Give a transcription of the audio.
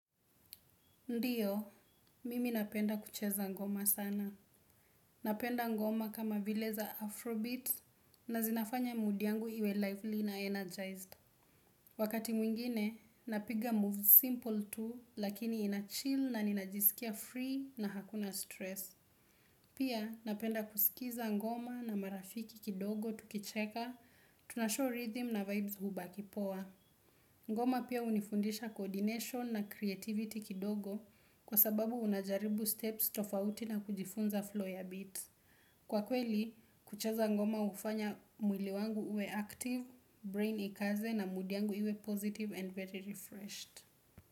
Ndiyo, mimi napenda kucheza ngoma sana. Napenda ngoma kama vile za Afrobeat na zinafanya mood yangu iwe lively na energized. Wakati mwingine napiga moves simple tu lakini nachill na najiskia free na hakuna stress. Pia napenda kusikiza ngoma na marafiki kidogo tukicheka, tunashow rhythm na vibes hubakipoa. Ngoma pia unifundisha coordination na creativity kidogo kwa sababu unajaribu steps tofauti na kujifunza flow ya bit. Kwa kweli, kucheza ngoma ufanya mwili wangu uwe active, brain ikaze na mood yangu iwe positive and very refreshed.